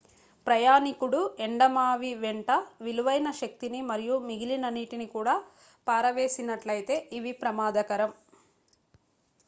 ప్రయాణీకుడు ఎండమావివెంట విలువైన శక్తిని మరియు మిగిలిన నీటిని కూడా పారవేసినట్లయితే ఇవి ప్రమాదకరం